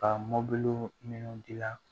Ka mɔbili minnu gilan